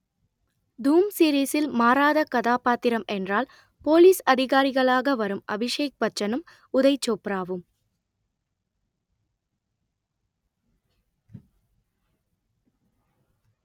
தூம் சீரிஸில் மாறாத கதாபாத்திரம் என்றால் போலீஸ் அதிகாரிகளாக வரும் அபிஷேக்பச்சனும் உதய் சோப்ராவும்